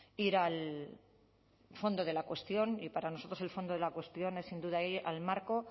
ir al fondo de la cuestión y para nosotros el fondo de la cuestión es sin duda ir al marco